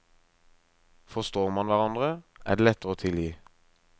Forstår man hverandre, er det lettere å tilgi.